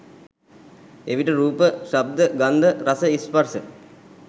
එවිට රූප, ශබ්ද, ගන්ධ, රස, ස්පර්ශ